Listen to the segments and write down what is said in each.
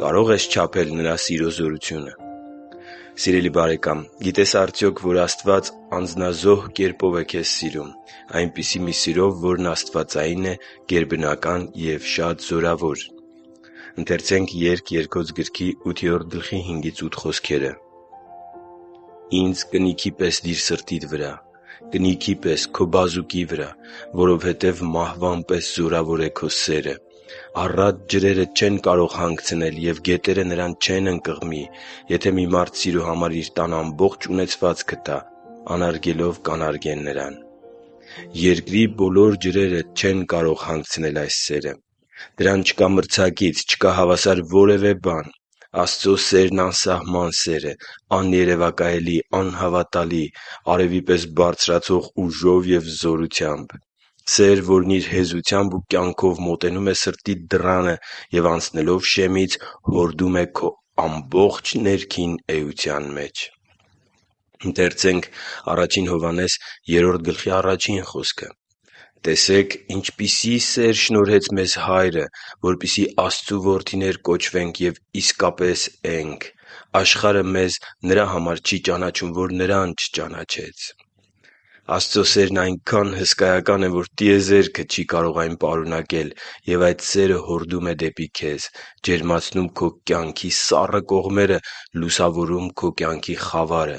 Կարո՞ղ ես չափել Նրա սիրո զորությունը Սիրելի՛ բարեկամ, գիտե՞ս արդյոք, որ Աստված անձնազոհ կերպով է քեզ սիրում։ Այնպիսի մի սիրով, որն աստվածային է, գերբնական և շատ զորավոր: «Ինձ կնիքի պես սրտիդ վրա՛ դիր, կնիքի պես՝ քո բազուկի վրա, որովհետև մահվան պես զորավոր է սերը.․․․ Առատ ջրերը սերը չեն կարող հագեցնել, և գետերը նրան չեն ընկղմի. եթե մի մարդ սիրո համար իր տան ամբողջ ունեցվածքը տա, անարգելով կանարգեն նրան» (Երգ Երգոց 8.5-8)։ Երկրի բոլոր ջրերը չեն կարող հագեցնել այս սերը: Դրան չկա մրցակից, չկա հավասար որևէ բան։ Աստծո սերն անսահման սեր է, աներևակայելի, անհավատալի, արևի պես բարձրացող ուժով և զորությամբ: Սեր, որն իր հեզությամբ ու կյանքով մոտենում է սրտիդ դռանը և, անցնելով շեմից, հորդում է քո ամբողջ ներքին էության մեջ։ «Տեսեք՝ ինչպիսի՜ սեր շնորհեց մեզ Հայրը, որպեսզի Աստծու որդիներ կոչվենք և իսկապես ենք. աշխարհը մեզ նրա համար չի ճանաչում, որ Նրան չճանաչեց» (Ա Հովհաննես 3.1)։ Աստծո սերն այնքա՜ն հսկայական է, որ տիեզերքը չի կարող այն պարունակել: Եվ այդ սերը հորդում է դեպի քեզ, ջերմացնում քո կյանքի սառը կողմերը, լուսավորում քո կյանքի խավարը,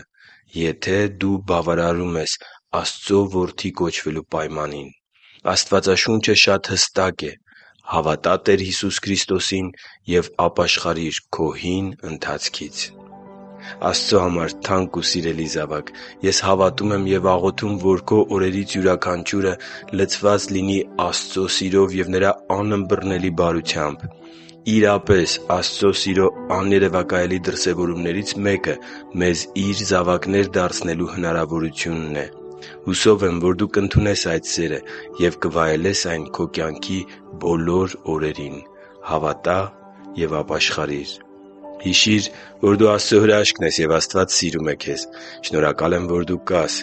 եթե դու բավարարում ես Աստծո որդի կոչվելու պայմանին։ Աստվածաշունչը շատ հստակ է՝ հավատա Տեր Հիսուսի Քրիստոսին և ապաշխարիր քո հին ընթացքից։ Աստծո համար թանկ ու սիրելի՛զավակ, ես հավատում և աղոթում, որ քո օրերից յուրաքանչյուրը լցված լինի Աստծո սիրով և Նրա անըմբռնելի բարությամբ։ Իրապես Աստծո սիրո աներևակայելի դրսևորումներից մեկը մեզ Իր զավակներ դարձնելու հնարավորությունն է։ Հուսով եմ, որ դու կընդունես այդ սերը և կվայելես այն քո կյանքի բոլոր օրերին։ Հավատա՛ և ապաշխարի՛ր․․․ Հիշի՛ր, որ դու Աստծո հրաշքն ես, և Աստված սիրում է քեզ։ Շնորհակալ եմ, որ դու կա՛ս